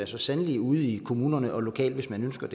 så sandelig ude i kommunerne og lokalt hvis man ønsker at